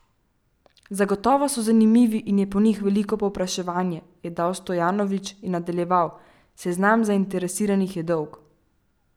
Zagotovo so zanimivi in je po njih veliko povpraševanje,' je dejal Stojanović in nadaljeval: 'Seznam zainteresiranih je dolg.